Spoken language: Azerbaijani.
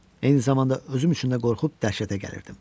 Eyni zamanda özüm üçün də qorxub dəhşətə gəlirdim.